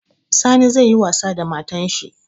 Sani zai yi wasa da matan shi